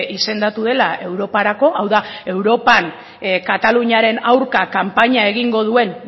izendatu dela europarako hau da europan kataluniaren aurka kanpaina egingo duen